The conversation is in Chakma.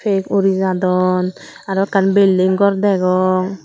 pek uri jadon aro ekkan building gor degong.